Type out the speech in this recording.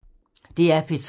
DR P3